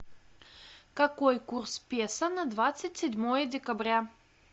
какой курс песо на двадцать седьмое декабря